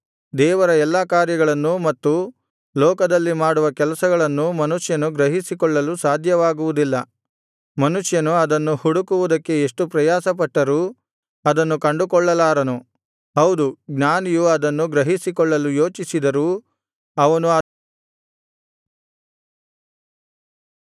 ದೇವರ ಎಲ್ಲಾ ಕಾರ್ಯಗಳನ್ನೂ ಮತ್ತು ಲೋಕದಲ್ಲಿ ಮಾಡುವ ಕೆಲಸಗಳನ್ನೂ ಮನುಷ್ಯನು ಗ್ರಹಿಸಿಕೊಳ್ಳಲು ಸಾಧ್ಯವಾಗುವುದಿಲ್ಲ ಮನುಷ್ಯನು ಅದನ್ನು ಹುಡುಕುವುದಕ್ಕೆ ಎಷ್ಟು ಪ್ರಯಾಸಪಟ್ಟರೂ ಅದನ್ನು ಕಂಡುಕೊಳ್ಳಲಾರನು ಹೌದು ಜ್ಞಾನಿಯು ಅದನ್ನು ಗ್ರಹಿಸಿಕೊಳ್ಳಲು ಯೋಚಿಸಿದರೂ ಅವನು ಅದನ್ನು ಗ್ರಹಿಸಲಾರನು